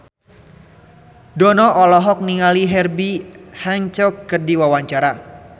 Dono olohok ningali Herbie Hancock keur diwawancara